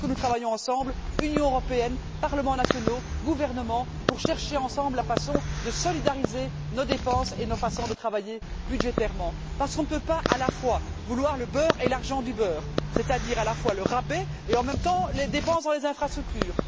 Il faut que nous travaillions ensemble Union européenne, parlements nationaux, gouvernements, pour chercher ensemble la façon de solidariser nos dépenses et nos façons de travailler budgétairement, parce qu'on ne peut pas à la fois vouloir le beurre et l'argent du beurre, c'est à dire à la fois le rabais et, en même temps, les dépenses dans les infrastructures.